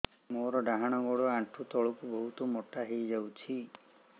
ମୋର ଡାହାଣ ଗୋଡ଼ ଆଣ୍ଠୁ ତଳକୁ ବହୁତ ମୋଟା ହେଇଯାଉଛି